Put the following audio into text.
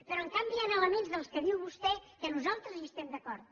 però en canvi hi han elements dels que diu vostè que nosaltres hi estem d’acord